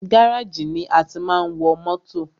Gáràjì ni a tí máa ń wọ mótò.